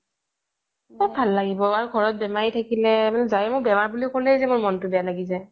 ক্'ত ভাল লাগিব আৰু ঘৰত বেমাৰি থকিলে জাৰে মোৰ বেমাৰ বুলি ক্'লেই মোৰ মোনতো বেয়া লাগি যাই